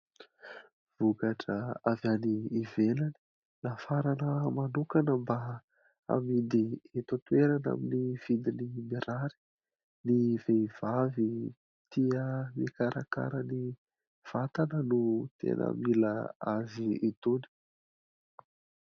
Vokatra avy any ivelany nafarana manokana mba amidy eto an-toerana amin'ny vidiny mirary. Ny vehivavy tia mikarakara ny vatana no tena mila azy itony.